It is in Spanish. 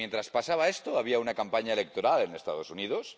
Que mientras pasaba esto, había una campaña electoral en Estados Unidos.